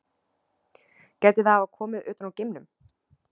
Gæti það hafa komið utan úr geimnum?